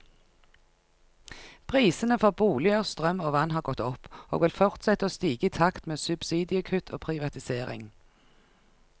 Prisene for boliger, strøm og vann har gått opp, og vil fortsette å stige i takt med subsidiekutt og privatisering.